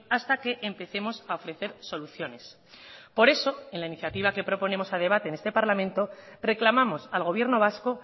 hasta que empecemos a ofrecer soluciones por eso en la iniciativa que proponemos a debate en este parlamento reclamamos al gobierno vasco